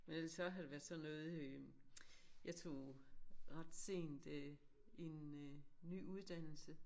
Men ellers så har det været sådan noget øh jeg tog ret sent øh en øh ny uddannelse